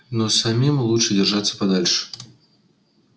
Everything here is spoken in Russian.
но самим лучше держаться подальше